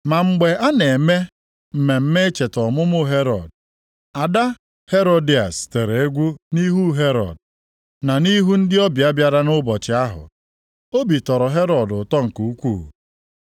Ma mgbe a na-eme mmemme icheta ọmụmụ Herọd, ada Herodịas tere egwu nʼihu Herọd, na nʼihu ndị ọbịa bịara nʼụbọchị ahụ. Obi tọrọ Herọd ụtọ nke ukwuu.